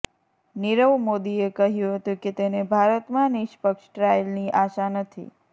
નીરવ મોદીએ કહ્યું હતું કે તેને ભારતમાં નિષ્પક્ષ ટ્રાયલની આશા નથી